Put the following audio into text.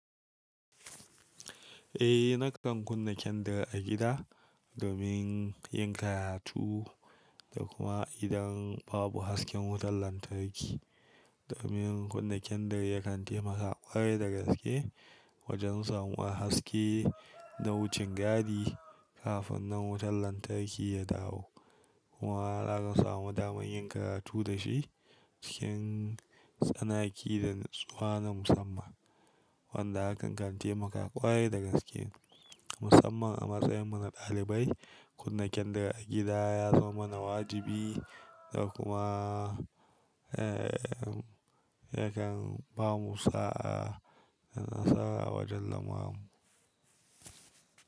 Eh, na kan kunna kyandir a gida domin yin karatu da kuma idan babu hasken wutar lantarki. Domin kunna kyandir ya kan taimaka ƙwarai da gaske wajen samuwar haske na wucin gadi kafin nan wutar lantarki ya dawo. Kuma za ka samu damar yin karatu da shi cikin tsanaki da natsuwa na musamman wanda hakan kan taumaka ƙwarai da gaske musamman a matsayin mu na ɗalibai. Kunna kyandir a gida ya zama mana wajibi da kuma, eh, ya kan bamu sa'a da nasara wajen lamurranmu.